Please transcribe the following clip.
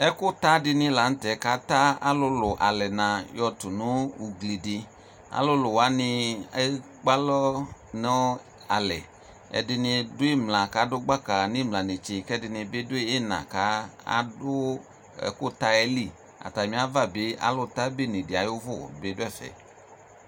ɛkʋ ta dini lantɛ kʋ ata alʋlʋ alɛna yɔ tʋnʋ ʋgli di, alʋlʋ wani ɛkpè alɔ nʋ alɛ, ɛdini dʋ imla kʋ adʋ baka nʋ imla nɛkyɛ kʋ ɛdini bi dʋ ina ka adʋ ɛkʋ ta yɛ li, atami ʋva alʋ ta bɛnɛ bi atami ʋvʋ ɔdʋ ɛƒɛ